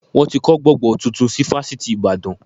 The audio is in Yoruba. Wọn ti kọ́ gbọ̀ngán tuntun si fásitì ìbàdàn